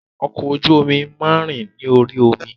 Ọkọ̀ ojú omi máa ń rìn orí omi